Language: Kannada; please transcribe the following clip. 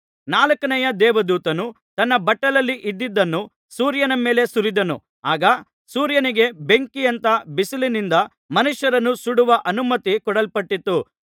ನಾಲ್ಕನೆಯ ದೇವದೂತನು ತನ್ನ ಬಟ್ಟಲಲ್ಲಿ ಇದ್ದದ್ದನ್ನು ಸೂರ್ಯನ ಮೇಲೆ ಸುರಿದನು ಆಗ ಸೂರ್ಯನಿಗೆ ಬೆಂಕಿಯಂಥ ಬಿಸಿಲಿನಿಂದ ಮನುಷ್ಯರನ್ನು ಸುಡುವ ಅನುಮತಿ ಕೊಡಲ್ಪಟ್ಟಿತು